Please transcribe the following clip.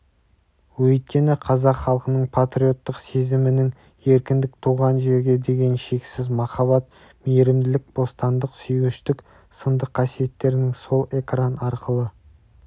өйткені қазақ халқының патриоттық сезімінің еркіндік туған жерге деген шексіз махаббат мейірімділік бостандық сүйгіштік сынды қасиеттерінің сол экран арқылы